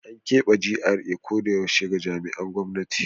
An kebe GRA koyaushe ga jami'an gwamnati.